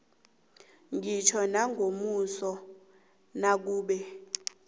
ngitjho nangomuso nakube